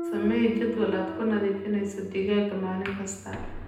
Samee jadwal aad ku nadiifinayso digaagga maalin kasta.